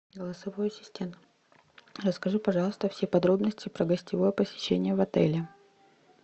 голосовой ассистент расскажи пожалуйста все подробности про гостевое посещение в отеле